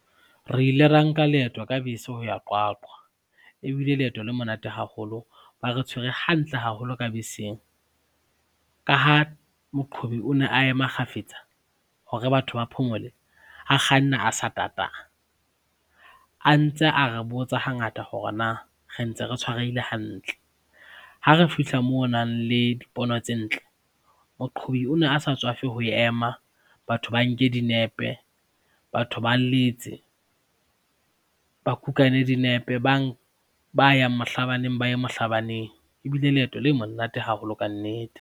Re ile ra nka leeto ka bese ho ya Qwaqwa. E bile leeto le monate haholo, ba re tshwere hantle haholo ka beseng. Ka ha Moqhobi o ne a ema kgafetsa hore batho ba phomole, a kganna a sa tata, a ntse a re botsa hangata hore na re ntse re tshwarehile hantle. Ha re fihla moo ho nang le dipono tse ntle, moqhobi o ne a sa tswafe ho ema batho ba nke dinepe, batho ba letse, ba kukane dinepe, ba yang mohlabaneng ba ye mohlabaneng. E bile leeto le monate haholo ka nnete.